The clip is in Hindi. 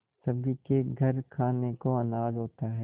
सभी के घर खाने को अनाज होता है